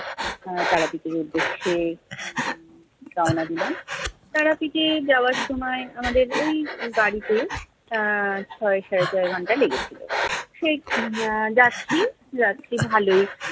আহ তারাপীঠের উদ্দেশ্যে উম রওনা দিলাম। তারাপীঠে যাওয়ার সময় আমাদের ওই গাড়িতে আহ ছয় সাড়ে ছয় ঘন্টা লেগেছিলো। সে আহ যাচ্ছি যাচ্ছি ভালোই-